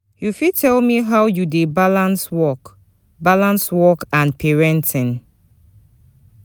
you fit tell me how you dey balance work balance work and parenting